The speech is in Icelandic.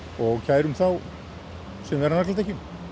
og kærum þá sem eru á nagladekkjum